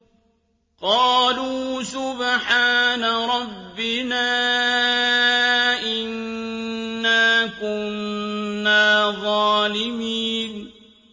قَالُوا سُبْحَانَ رَبِّنَا إِنَّا كُنَّا ظَالِمِينَ